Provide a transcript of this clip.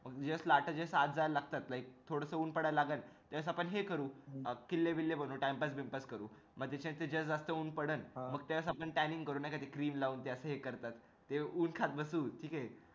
जस लाटा लाटा आत जायला लागतात like तस थोडस ऊन पडायला लागल त्यावेडेस आपण हे करू किल्ले बिल्ले बनवू time pass binpass करू मी ते ज्या वेळेस जास्ती ऊन पडल मग त्या वेडेस आपण tanning करू ते नाही cream लावून ते असं हे करतात ते ऊन खात बसू